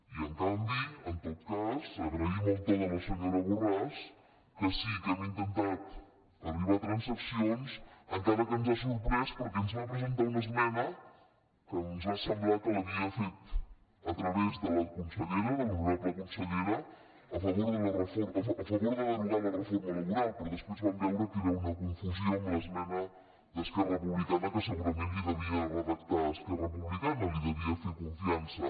i en canvi en tot cas agraïm el to de la senyora borràs que sí que hem intentat arribar a transaccions encara que ens ha sorprès perquè ens va presentar una esmena que ens va semblar que l’havia fet a través de la consellera de l’honorable consellera a favor de derogar la reforma laboral però després vam veure que era una confusió amb l’esmena d’esquerra republicana que segurament li devia redactar esquerra republicana li devia fer confiança